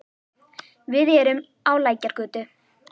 Við erum á Lækjargötu.